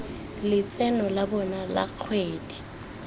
letseno la bona la kgwedi